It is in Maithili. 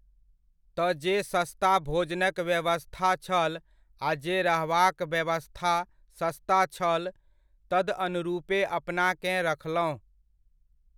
तऽ जे सस्ता भोजनक व्यवस्था छल, आ जे रहबाक व्यवस्था सस्ता छल, तदअनुरूपे अपनाकेँ रखलहुँ।